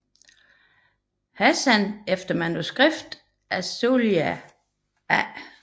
Hassan efter manuskript af Sohail A